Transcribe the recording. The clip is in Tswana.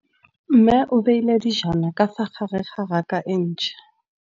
Mmê o beile dijana ka fa gare ga raka e ntšha.